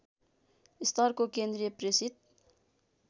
स्तरको केन्द्रीय प्रेसित